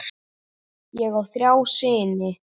Ég á þrjá syni.